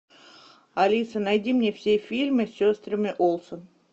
алиса найди мне все фильмы с сестрами олсен